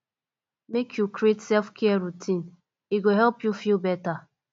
make you create selfcare routine e go help you feel beta